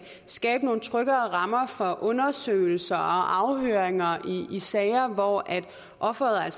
skabe nogle tryggere rammer for undersøgelser og afhøringer i sager hvor offeret